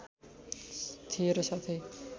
थिए र साथै